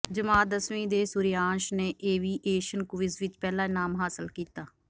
ਜਮਾਤ ਦੱਸਵੀਂ ਦੇ ਸੂਰਯਾਂਸ਼ ਨੇ ਏਵੀਏਸ਼ਨ ਕੁਵਿਜ਼ ਵਿਚ ਪਹਿਲਾ ਇਨਾਮ ਹਾਸਿਲ ਕੀਤ